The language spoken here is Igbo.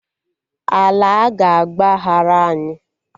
Ala aga agbaghara anyị?